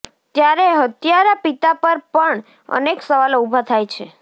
ત્યારે હત્યારા પિતા પર પણ અનેક સવાલો ઉભા થાય છે